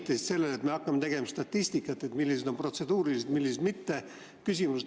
Sa viitasid sellele, et me hakkame tegema statistikat, millised on protseduurilised küsimused ja millised mitte.